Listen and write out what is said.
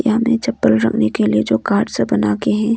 हमें चप्पल रखने के लिए जो कार्ड से बना के हैं।